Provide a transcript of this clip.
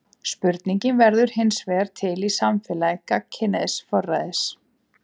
Spurningin verður hinsvegar til í samfélagi gagnkynhneigðs forræðis.